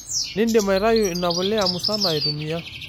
Nindim aitayu inapuliya musana aitumiya.